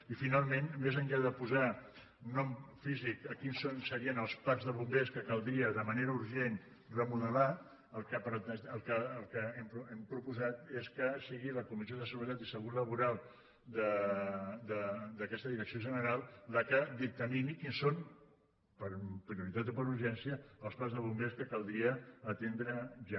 i finalment més enllà de posar nom físic a quins serien els parcs de bombers que caldria de manera urgent remodelar el que hem proposat és que sigui la comissió de seguretat i salut laboral d’aquesta direcció general la que dictamini quins són per prioritat o per urgència els parcs de bombers que caldria atendre ja